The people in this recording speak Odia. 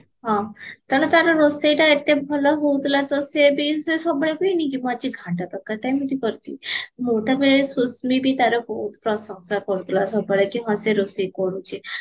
ହଁ କାରଣ ତାର ରୋଷେଇଟା ଏତେ ଭଲ ହାଉଥିଲାତ ତ ସିଏବି ସିଏ ସବୁବେଳେ କୁହେନି କି ମୁଁ ଆଜି ଘାଣ୍ଟ ତରକାରୀ ଟା ଏମିତି କରିଚି ମୁଁ ତ କୁହେ ସୁଶ୍ମି ବି ତାର ବହୁତ ପ୍ରଶଂସା କରୁଥିଲା ସବୁବେଳେ ହଁ କି ସେ ରୋଷେଇ କରୁଚି